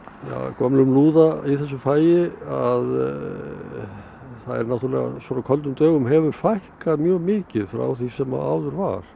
gömlum lúða í þessu fagi að svona köldum dögum hefur fækkað mjög mikið frá því sem áður var